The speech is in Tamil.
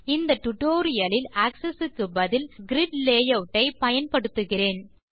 இந்த டியூட்டோரியல் லில் ஆக்ஸஸ் க்கு பதில் கிரிட் லேயூட் ஐ பயன்படுத்துகிறேன்